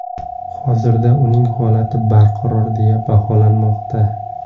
Hozirda uning holati barqaror deya baholanmoqda.